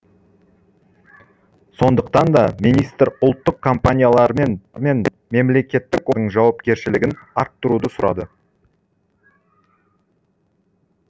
сондықтан да министр ұлттық компаниялар мен мемлекеттік жауапкершілігін арттыруды сұрады